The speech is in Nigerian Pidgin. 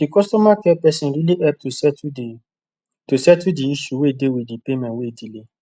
the customer care person really help to settle the to settle the issue wey dey with the payment wey delay